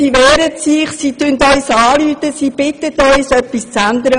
Sie wehren sich, sie schreiben uns und rufen uns an, sie bitten uns um Hilfe.